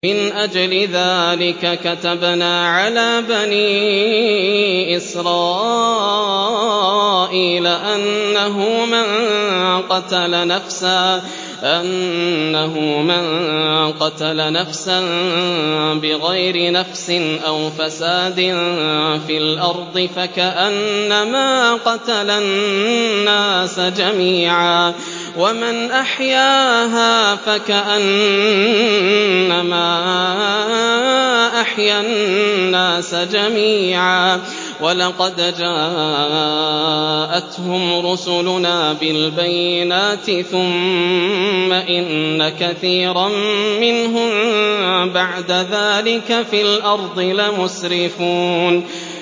مِنْ أَجْلِ ذَٰلِكَ كَتَبْنَا عَلَىٰ بَنِي إِسْرَائِيلَ أَنَّهُ مَن قَتَلَ نَفْسًا بِغَيْرِ نَفْسٍ أَوْ فَسَادٍ فِي الْأَرْضِ فَكَأَنَّمَا قَتَلَ النَّاسَ جَمِيعًا وَمَنْ أَحْيَاهَا فَكَأَنَّمَا أَحْيَا النَّاسَ جَمِيعًا ۚ وَلَقَدْ جَاءَتْهُمْ رُسُلُنَا بِالْبَيِّنَاتِ ثُمَّ إِنَّ كَثِيرًا مِّنْهُم بَعْدَ ذَٰلِكَ فِي الْأَرْضِ لَمُسْرِفُونَ